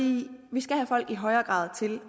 vi skal have folk til i højere grad